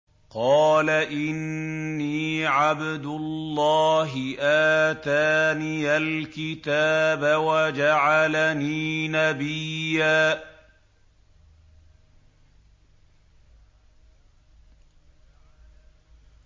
قَالَ إِنِّي عَبْدُ اللَّهِ آتَانِيَ الْكِتَابَ وَجَعَلَنِي نَبِيًّا